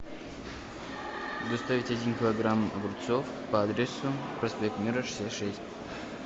доставить один килограмм огурцов по адресу проспект мира шестьдесят шесть